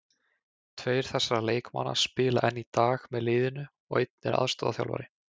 Tveir þessara leikmanna spila enn í dag með liðinu og einn er aðstoðarþjálfari.